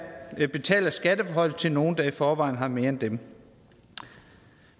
betaler skattelettelser til nogle der i forvejen har mere end dem